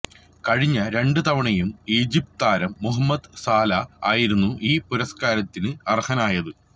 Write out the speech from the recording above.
കഴിഞ്ഞ രണ്ട് തവണയും ഈജിപ്ത് താരം മുഹമ്മദ് സലാ ആയിരുന്നു ഈ പുരസ്കാരത്തിന് അര്ഹനായത്